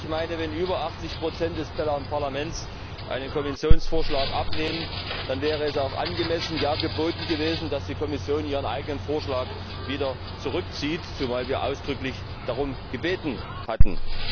Ich meine, wenn über 80 des Parlaments einen Kommissionsvorschlag ablehnen, dann wäre es auch angemessen, ja geboten gewesen, dass die Kommission ihren eigenen Vorschlag wieder zurückzieht, zumal wir ausdrücklich darum gebeten hatten.